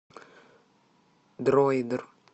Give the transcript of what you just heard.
дроидер